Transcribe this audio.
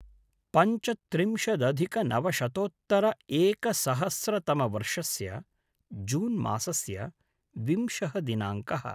पञ्चत्रिंशदधिकनवशतोत्तर-एकसहस्रतमवर्षस्य जून् मासस्य विंशः दिनाङ्कः